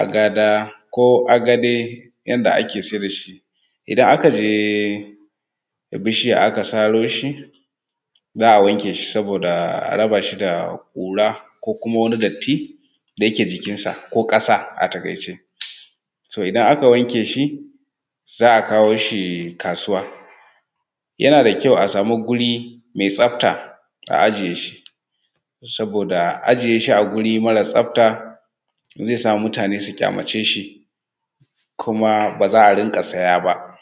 Agada ko agade yadda ake saida shi. Idan aka je da bishiya aka saro shi, za a wanke shi saboda a raba shi da ƙura ko kuma wani datti da ke jikijnsa, ko ƙasa a taƙaice. To idan aka wanke shi za a kawo shi kasuwa, yana da kyau a samu guri mai tsafta a ajiye shi, saboda ajiye shi a wuri mara tsafta zai sa mutane su ƙyamace shi, kuma ba za a rinƙa siya ba.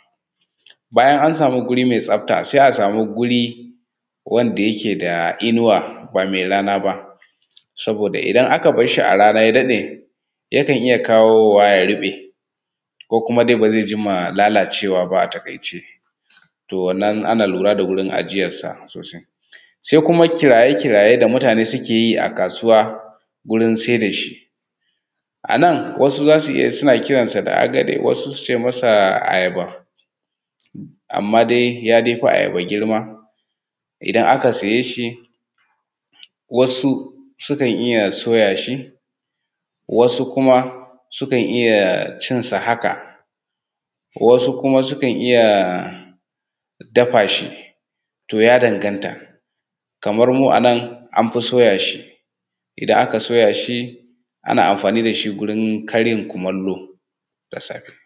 bayan an samu guri me tsafta, sai a samu guri wanda yake da inuwa ba mai rana ba, saboda idan aka bashshi a rana ya daɗe yakan iya kawo wa ya ruɓe, ko kuma ba zai jima lalacewa ba a taƙaice. To wannan ana lura da wajan ajiyansa sosai. Sai kuma kiraye kiraye da mutane suke yi a kasuwa wurin sai da shi. A nan wasu suna iya kiransa da agade, wasu suce masa ayaba. Amma dai yafi ayaba girma, idan aka saye shi, wasu sukan iya soya shi, wasu kuma sukan iya cinsa haka, wasu kuma sukan iya dafa shi. To ya danganta kamar mu a nan an fi soya shi idan aka soya shi ana amfani da shi wurin karin kumallo da safe.